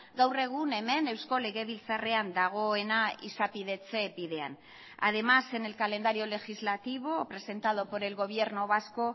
gaur egun hemen eusko legebiltzarrean dagoena izapidetze bidean además en el calendario legislativo presentado por el gobierno vasco